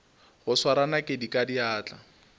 go swara nakedi ka diatla